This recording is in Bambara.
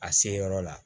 A se yɔrɔ la